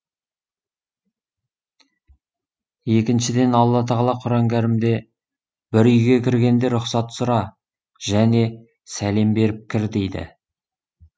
екіншіден алла тағала құран кәрімде бір үйге кіргенде рұқсат сұра және сәлем беріп кір дейді